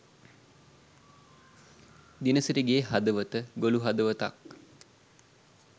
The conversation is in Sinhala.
දිනසිරිගේ හදවත ගොලු හදවතක්